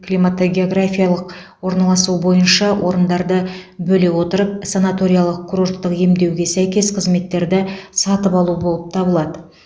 климатогеографиялық орналасуы бойынша орындарды бөле отырып санаториялық курорттық емдеуге сәйкес қызметтерді сатып алу болып табылады